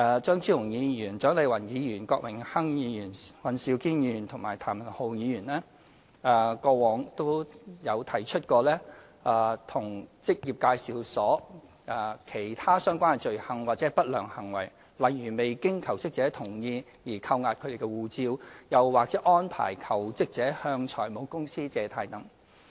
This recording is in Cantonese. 張超雄議員、蔣麗芸議員、郭榮鏗議員、尹兆堅議員和譚文豪議員過往都有提出過職業介紹所其他相關的罪行或不良行為，例如未經求職者同意而扣押其護照，又或安排求職者向財務公司借貸等。